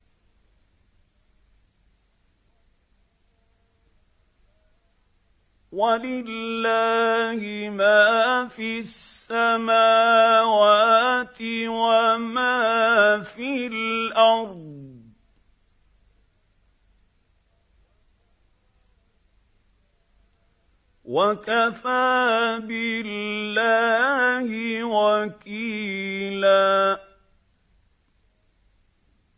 وَلِلَّهِ مَا فِي السَّمَاوَاتِ وَمَا فِي الْأَرْضِ ۚ وَكَفَىٰ بِاللَّهِ وَكِيلًا